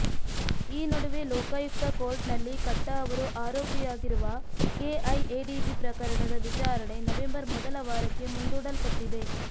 ಈ ನಡುವೆ ಲೋಕಾಯುಕ್ತ ಕೋರ್ಟ್ ನಲ್ಲಿ ಕಟ್ಟಾ ಅವರು ಆರೋಪಿಯಾಗಿರುಅ ಕೆಐಎಡಿಬಿ ಪ್ರಕರಣದ ವಿಚಾರಣೆ ನವೆಂಬರ್ ಮೊದಲ ವಾರಕ್ಕೆ ಮುಂದೂಡಲ್ಪಟ್ಟಿದೆ